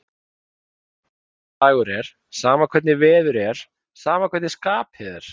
Alveg sama hvaða dagur er, sama hvernig veður er, sama hvernig skapið er.